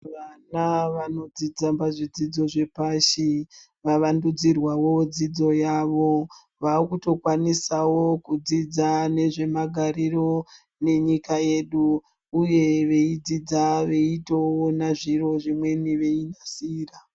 Vana vano dzidza pa zvidzidzo zvepashi va wandudzi rwawo dzidzo yavo vakuto kwanisawo kudzidza nezve magariro ne nyika yedu uye veyi dzidza veitoona zviro zvimweni vei nasira.